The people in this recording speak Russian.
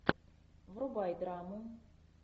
врубай драму